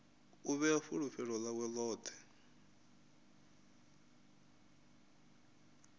u vhea fulufhelo ḽawe ḽoṱhe